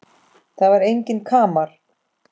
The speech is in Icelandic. Það var enginn kamar.